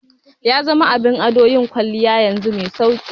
Yazama abin ado yanzu yin kwalliya mai sauki